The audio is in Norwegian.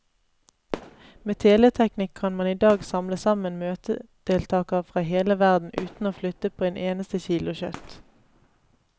Med teleteknikk kan man i dag samle sammen møtedeltagere fra hele verden uten å flytte på et eneste kilo kjøtt.